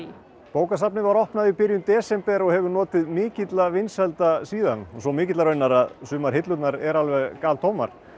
bókasafnið var opnað í byrjun desember og hefur notið mikilla vinsælda síðan svo mikilla raunar að sumar hillurnar eru alveg galtómar